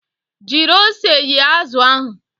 Jiri ose yee azụ ahụ!